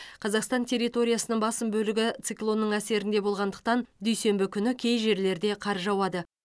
қазақстан территориясының басым бөлігі циклонның әсерінде болғандықтан дүйсенбі күні кей жерлерде қар жауады